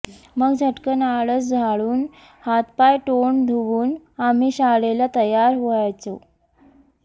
मग झटकन आळस झाडून हातपाय तोंड धुवून आम्ही शाळेला तयार व्हायचो